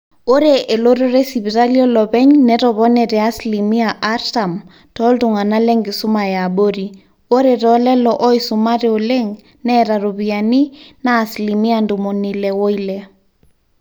ore elototo esipitali olopeny netopone te asilimia artam tooltung'anak lenkisuma eabori ore toolelo ooisumate oleng neeta iropiyiani naa asilimia ntomoni ile oile